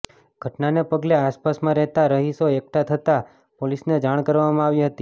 ઘટનાને પગલે આસપાસમાં રહેતા રહીશો એકઠા થતા પોલીસને જાણ કરવામાં આવી હતી